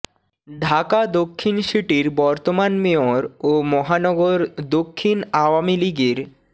ঢাকা দক্ষিণ সিটির বর্তমান মেয়র ও মহানগর দক্ষিণ আওয়ামী লীগের